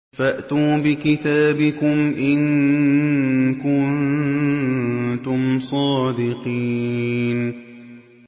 فَأْتُوا بِكِتَابِكُمْ إِن كُنتُمْ صَادِقِينَ